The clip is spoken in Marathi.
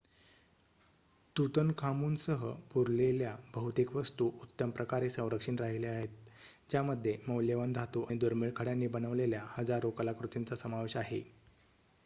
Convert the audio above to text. तूतनखामूनसह पुरलेल्या बहुतेक वस्तू उत्तम प्रकारे संरक्षित राहिल्या आहेत ज्यामध्ये मौल्यवान धातू आणि दुर्मिळ खड्यांनी बनवलेल्या हजारो कलाकृतींचा समावेश आहे